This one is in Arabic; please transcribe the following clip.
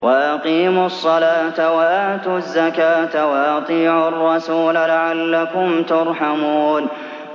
وَأَقِيمُوا الصَّلَاةَ وَآتُوا الزَّكَاةَ وَأَطِيعُوا الرَّسُولَ لَعَلَّكُمْ تُرْحَمُونَ